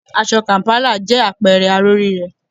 Aṣọ kàm̀pálà jẹ́ àpẹẹrẹ aró rírẹ́